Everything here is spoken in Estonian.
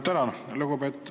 Tänan!